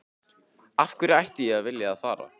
Af hverju ætti ég að vilja að fara?